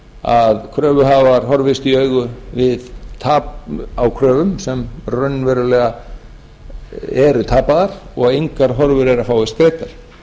að kröfuhafar horfist í augu við tap á kröfum sem raunverulega eru tapaðar og engar horfur eru á að fáist greiddar